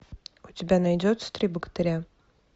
у тебя найдется три богатыря